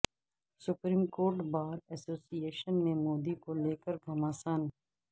supreme court bar association میں مودی کو لے کر گھمسان